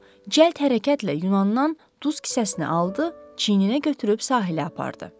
O cəld hərəkətlə Yunandan duz kisəsini aldı, çiyninə götürüb sahilə apardı.